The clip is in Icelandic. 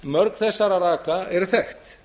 mörg þess raka eru þekkt